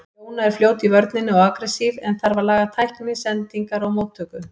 Jóna er fljót í vörninni og agressív en þarf að laga tækni, sendingar og móttöku.